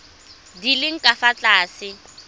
di leng ka fa tlase